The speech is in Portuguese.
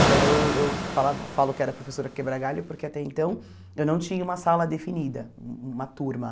Então eu eu falava falo que era professora quebra galho porque até então eu não tinha uma sala definida, uma turma.